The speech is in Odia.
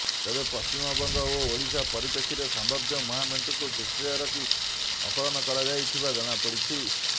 ତେବେ ପଶ୍ଚିମବଙ୍ଗ ଓ ଓଡ଼ିଶା ପରିପ୍ରେକ୍ଷୀରେ ସମ୍ଭାବ୍ୟ ମହାମେଣ୍ଟକୁ ଦୃଷ୍ଟିରେ ରଖି ଆକଳନ କରାଯାଇନଥିବା ଜଣାପଡ଼ିଛି